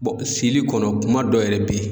sili kɔnɔ kuma dɔ yɛrɛ be ye.